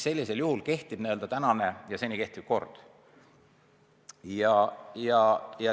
Sellisel juhul kehtib senine kord.